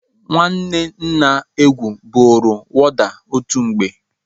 Nwanne nna Egwu bụrụ wọda otu mgbe.